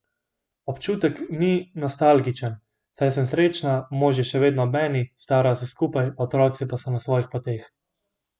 Občutek ni nostalgičen, saj sem srečna, mož je še vedno ob meni, starava se skupaj, otroci pa so na svojih poteh.